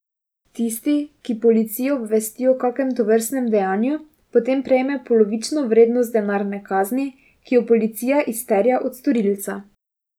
Tisti, ki policijo obvesti o kakem tovrstnem dejanju, potem prejme polovično vrednost denarne kazni, ki jo policija izterja od storilca.